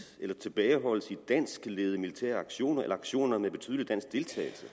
eller tilbageholdes i danskledede militære aktioner eller aktioner med betydelig dansk deltagelse